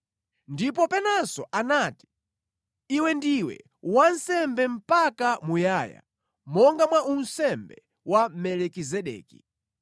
Ndipo penanso anati, “Iwe ndiwe wansembe mpaka muyaya, monga mwa unsembe wa Melikizedeki.”